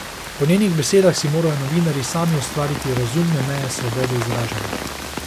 Po njenih besedah si morajo novinarji sami ustvariti razumne meje svobode izražanja.